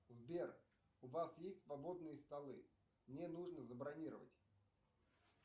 сбер у вас есть свободные столы мне нужно забронировать